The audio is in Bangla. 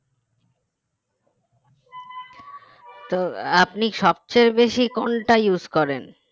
তো আপনি সবচেয়ে বেশি কোনটা use করেন